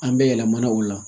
An bɛ yɛlɛmana o la